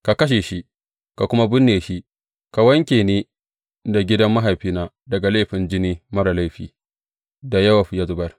Ka kashe shi, ka kuma binne shi, ka wanke ni da gidan mahaifina daga laifin jini marasa laifin da Yowab ya zubar.